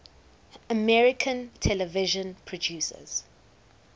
american television producers